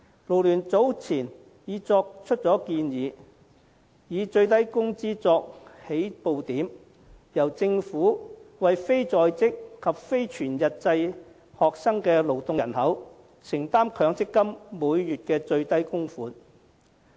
勞聯早前已提出建議，以最低工資作起步點，由政府為非在職及非全日制學生的勞動人口承擔強積金每月的最低供款。